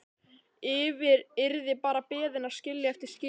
Yrði bara beðin að skilja eftir skilaboð.